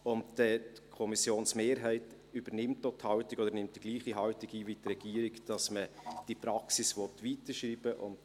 Die Kommissionsmehrheit nimmt die gleiche Haltung ein wie die Regierung, wonach man diese Praxis weiterschreiben möchte.